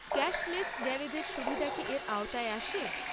Cashless গ্যারেজের সুবিধা কি এর আওতায় আসে?